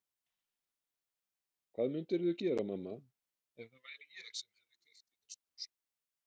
Hvað mundirðu gera, mamma, ef það væri ég sem hefði kveikt í þessum húsum?